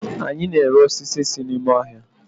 anyi na-ere osisi si n'ime ohia